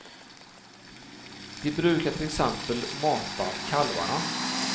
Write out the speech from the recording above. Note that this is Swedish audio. De brukar till exempel mata kalvarna.